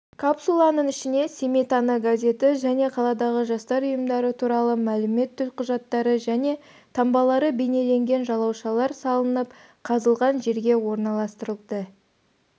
капсуланың ішіне семей таңы газеті және қаладағы жастар ұйымдары туралы мәлімет төлқұжаттары және таңбалары бейнеленген жалаушалар салынып қазылған жерге орналастырылды